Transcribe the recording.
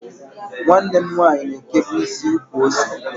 Nwanne m nwanyi na ekebu isi ukwu-ose.